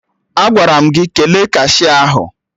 Agwara m gị kele kashia ahụ!